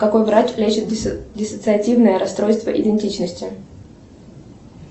какой врач лечит диссоциативное расстройство идентичности